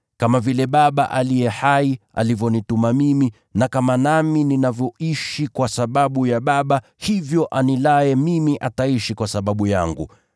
Kama vile Baba aliye hai alivyonituma mimi, na kama nami ninavyoishi kwa sababu ya Baba, hivyo anilaye mimi ataishi kwa sababu yangu.